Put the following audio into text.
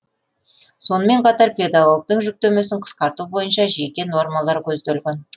сонымен қатар педагогтің жүктемесін қысқарту бойынша жеке нормалар көзделген